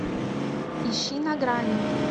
ищи на грани